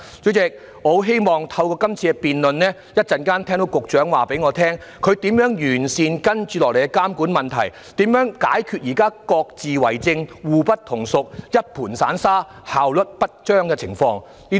主席，我很希望透過今次的辯論，稍後可以聽到局長告知如何能完善接下來的監管工作，如何能解決現時各自為政，互不統屬，一盤散沙，效率不彰的情況。